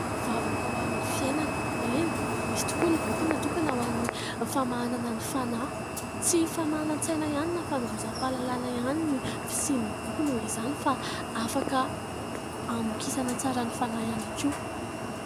Vavaka ho amin'ny fiainana, eny misy tokoa ny boky natokana ho an'ny famahanana ny fanahy, tsy famahanan-tsaina ihany na fanovozam-pahalalana ihany ny fisian'ny boky noho izany fa afaka hamokisana tsara ny fanahy ihany koa.